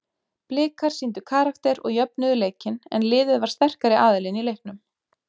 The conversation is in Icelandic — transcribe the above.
Blikar sýndu karakter og jöfnuðu leikinn en liðið var sterkari aðilinn í leiknum.